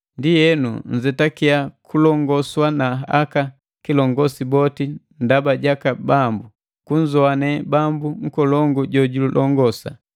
Ndienu nzetakia kulongoswa na aka kilongosi boti ndaba jaka Bambu: Kunzowane Bambu nkolongu jojulongosa,